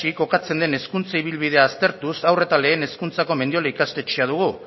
kokatzen den hezkuntza ibilbidea aztertuz haur eta lehen hezkuntzako mendiola ikastetxea dugu